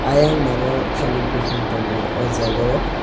ayang naro thailik buphang tongo o jaga o.